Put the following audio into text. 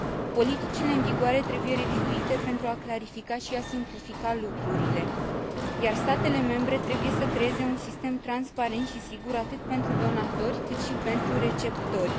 Politicile în vigoare trebuie revizuite pentru a clarifica și a simplifica lucrurile, iar statele membre trebuie să creeze un sistem transparent și sigur atât pentru donatori, cât și pentru receptori.